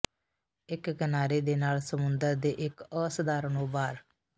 ਇੱਕ ਕਿਨਾਰੇ ਦੇ ਨਾਲ ਸਮੁੰਦਰ ਦੇ ਇੱਕ ਅਸਧਾਰਨ ਉਭਾਰ